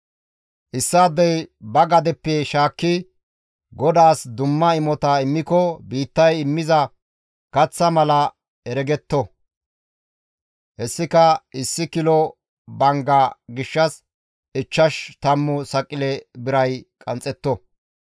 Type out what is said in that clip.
« ‹Issaadey ba gadeppe shaakki GODAAS dumma imota immiko biittay immiza kaththaa mala heregetto; hessika issi kilo bangga gishshas ichchash tammu saqile biray qanxxetto.